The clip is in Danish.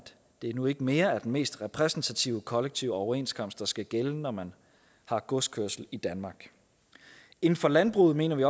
det nu ikke mere er den mest repræsentative kollektive overenskomst der skal gælde når man har godskørsel i danmark inden for landbruget mener vi